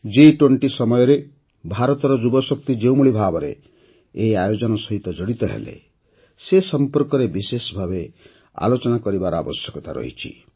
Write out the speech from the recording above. ଜି୨୦ ସମୟରେ ଭାରତର ଯୁବଶକ୍ତି ଯେଉଁଭଳି ଭାବରେ ଏହି ଆୟୋଜନ ସହ ଜଡ଼ିତ ହେଲେ ସେ ସମ୍ପର୍କରେ ବିଶେଷ ଭାବେ ଆଲୋଚନା କରିବାର ଆବଶ୍ୟକତା ରହିଛି